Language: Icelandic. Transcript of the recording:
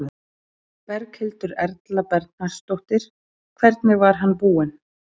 Berghildur Erla Bernharðsdóttir: Hvernig var hann búinn?